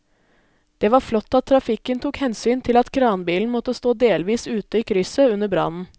Det var flott at trafikken tok hensyn til at kranbilen måtte stå delvis ute i krysset under brannen.